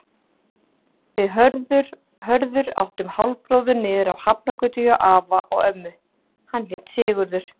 Við Hörður áttum hálfbróður niðri á Hafnargötu hjá afa og ömmu, hann hét Sigurður.